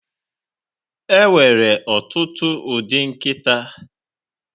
Enwere ọtụtụ ụdị nkịta